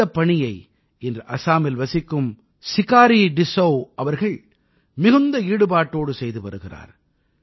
இந்தப் பணியை இன்று அஸாமில் வசிக்கும் சிகாரீ டிஸ்ஸௌ அவர்கள் மிகுந்த ஈடுபாட்டோடு செய்து வருகிறார்